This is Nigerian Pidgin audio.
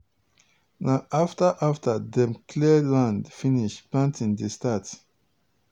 na afta afta dem clear land finish planting dey start.